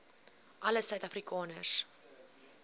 alle suid afrikaners